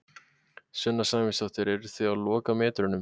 Sunna Sæmundsdóttir: Eruð þið á lokametrunum?